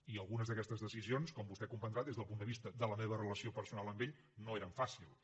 i algunes d’aquestes decisions com vostè deu comprendre des del punt de vista de la meva relació personal amb ell no eren fàcils